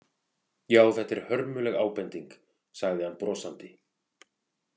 Já, þetta er hörmuleg ábending, sagði hann brosandi.